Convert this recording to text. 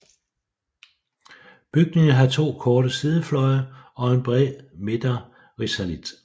Bygningen har to korte sidefløje og en bred midterrisalit